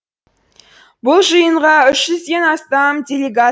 бұл жиынға үшізден астам делегат